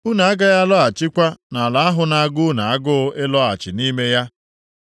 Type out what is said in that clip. Unu agaghị alọghachikwa nʼala ahụ na-agụ unu agụụ ịlọghachi nʼime ya.”